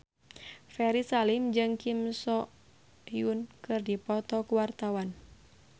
Ferry Salim jeung Kim So Hyun keur dipoto ku wartawan